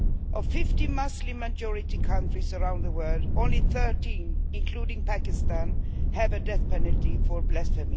Of 50 Muslim majority countries around the world, only 13 including Pakistan have a death penalty for blasphemy.